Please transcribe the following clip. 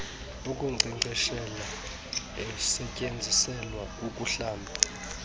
wokunkcenkceshela osetyenziselwa ukuhlamba